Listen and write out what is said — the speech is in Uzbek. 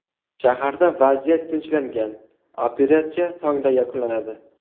Shaharda vaziyat tinchlangan, operatsiya tongda yakunlanadi.